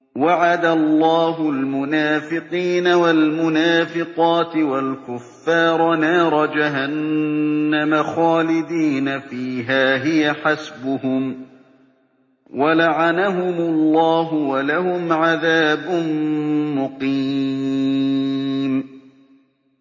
وَعَدَ اللَّهُ الْمُنَافِقِينَ وَالْمُنَافِقَاتِ وَالْكُفَّارَ نَارَ جَهَنَّمَ خَالِدِينَ فِيهَا ۚ هِيَ حَسْبُهُمْ ۚ وَلَعَنَهُمُ اللَّهُ ۖ وَلَهُمْ عَذَابٌ مُّقِيمٌ